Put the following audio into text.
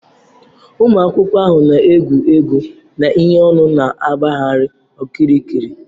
Ụmụ akwụkwọ ahụ nọ n'egwegwu na ihe ọn̄ụ na-agbagharị okirikiri